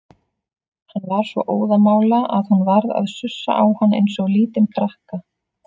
Hann var svo óðamála að hún varð að sussa á hann eins og lítinn krakka.